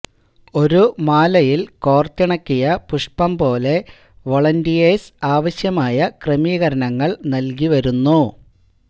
ഒരുമാലയിൽ കോർത്തിണക്കിയ പുഷ്പം പോലെ വോളന്റിയേഴ്സ് ആവശ്യമായ ക്രെമീകരണങ്ങൾ നൽകി വരുന്നു